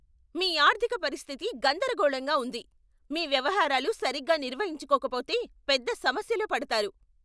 మీ ఆర్థిక పరిస్థితి గందరగోళంగా ఉంది! మీ వ్యవహారాలు సరిగ్గా నిర్వహించుకోకపోతే పెద్ద సమస్యలో పడతారు.